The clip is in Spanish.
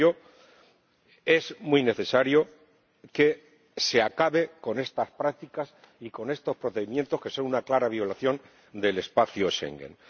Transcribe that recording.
Por ello, es muy necesario que se acabe con estas prácticas y con estos procedimientos, que son una clara violación del espacio Schengen.